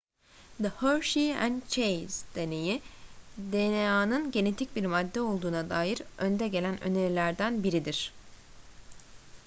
the hershey and chase deneyi dna'nın genetik bir madde olduğuna dair önde gelen önerilerinden biriydi